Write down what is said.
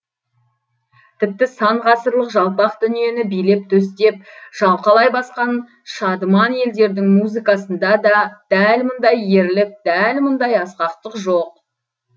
тіпті сан ғасырлар жалпақ дүниені билеп төстеп шалқалай басқан шадыман елдердің музыкасында да дәл мұндай ерлік дәл мұндай асқақтық жоқ